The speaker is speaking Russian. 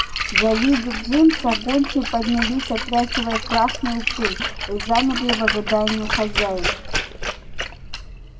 завидя джимса гончие поднялись отряхивая красную пыль и замерли в ожидании хозяев